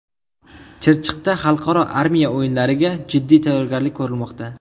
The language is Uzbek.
Chirchiqda xalqaro armiya o‘yinlariga jiddiy tayyorgarlik ko‘rilmoqda .